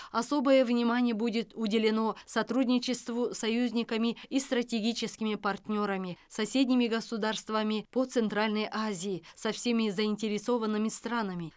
особое внимание будет уделено сотрудничеству с союзниками и стратегическими партнерами соседними государствами по центральной азии со всеми заинтересованными странами